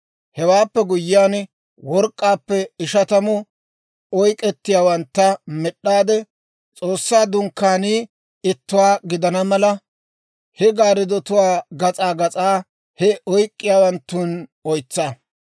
Hewaappe guyyiyaan work'k'aappe ishatamu oyk'k'iyaawantta med'd'aade S'oossaa Dunkkaanii ittuwaa gidana mala, he gaarddotuwaa gas'aa gas'aa he oyk'k'iyaawanttun oytsa.